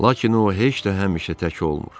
Lakin o heç də həmişə tək olmur.